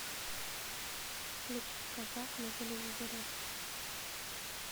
включи казах на телевизоре